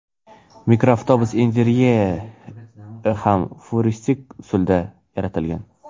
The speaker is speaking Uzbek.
Mikroavtobus interyeri ham futuristik usulda yaratilgan.